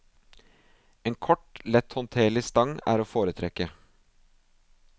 En kort, letthåndterlig stang er å foretrekke.